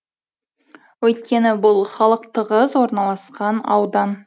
өйткені бұл халық тығыз орналасқан аудан